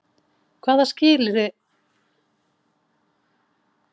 Hvaða skilyrði þarf þá að uppfylla til að fá lánið?